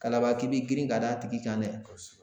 Kalaban k'i b'i girin ka d'a tigi kan dɛ kosɛbɛ